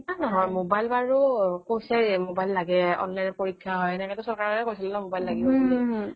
এ নহয় মোবাইল বাৰু কৈছে online পৰীক্ষা হয় সেইটো চৰকাৰেই কৈছিল ন মোবাইল লাগিব বুলি